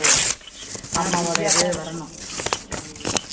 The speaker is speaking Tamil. அம்மா வோட இது வரணும்